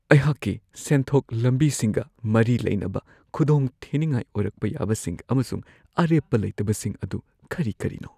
ꯑꯩꯍꯥꯛꯀꯤ ꯁꯦꯟꯊꯣꯛ ꯂꯝꯕꯤꯁꯤꯡꯒ ꯃꯔꯤ ꯂꯩꯅꯕ ꯈꯨꯗꯣꯡꯊꯤꯅꯤꯡꯉꯥꯏ ꯑꯣꯏꯔꯛꯄ ꯌꯥꯕꯁꯤꯡ ꯑꯃꯁꯨꯡ ꯑꯔꯦꯞꯄ ꯂꯩꯇꯕꯁꯤꯡ ꯑꯗꯨ ꯀꯔꯤ-ꯀꯔꯤꯅꯣ ?